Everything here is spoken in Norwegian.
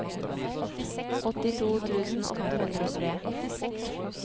åttito tusen åtte hundre og tre